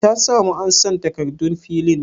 Ta samu ansan takardun filin?